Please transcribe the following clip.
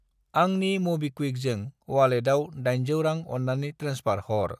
आंनि मबिक्वुइकजों अवालेटाव 800 रां अन्नानै ट्रेन्सफार हर।